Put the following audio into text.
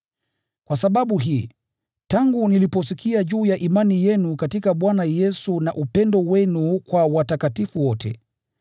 Kwa sababu hii, tangu niliposikia juu ya imani yenu katika Bwana Yesu na upendo wenu kwa watakatifu wote,